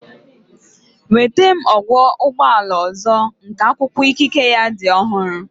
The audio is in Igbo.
Nweta m ọkwọ ụgbọ ala ọzọ nke akwụkwọ ikike ya dị ọhụrụ